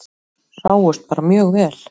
Sáust bara mjög vel.